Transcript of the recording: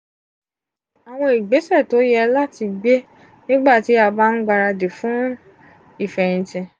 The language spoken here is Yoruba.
awọn igbesẹ to ye lati gbe nigbati a ba n gbaradi fun ifẹyinti